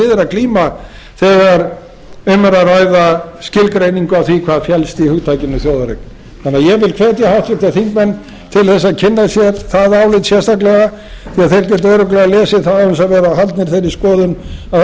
við er að glíma þegar um er að ræða skilgreiningu á því hvað felst í hugtakinu þjóðareign þannig að ég vil hvetja háttvirtir þingmenn til þess að kynna sér það álit sérstaklega því þeir geta örugglega lesið það án þess að vera haldnir þeirri skoðun að það sé